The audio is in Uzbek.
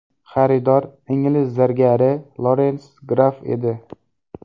Xaridor ingliz zargari Lorens Graff edi.